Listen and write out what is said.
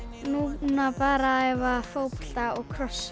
núna bara að æfa fótbolta og crossfit